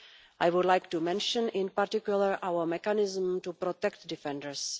I would like to mention, in particular, our mechanism to protect defenders.